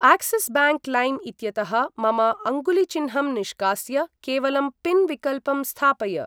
Axis bank लैम् इत्यतः मम अङ्गुलिचिन्हं निष्कास्य केवलं पिन् विकल्पं स्थापय!